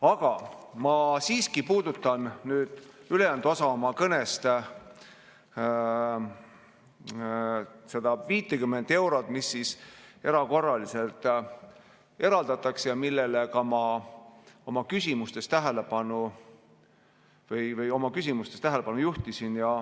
Aga ma siiski puudutan nüüd ülejäänud osas oma kõnest seda 50 eurot, mis erakorraliselt eraldatakse ja millele ma ka oma küsimustes tähelepanu juhtisin.